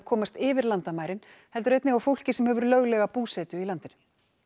komast yfir landamærin heldur einnig á fólki sem hefur löglega búsetu í landinu